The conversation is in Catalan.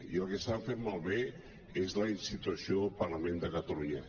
i el que es·tan fent malbé és la institució del parlament de catalunya